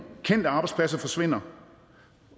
kendte arbejdspladser måske forsvinder